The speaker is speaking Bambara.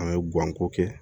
An bɛ guwanko kɛ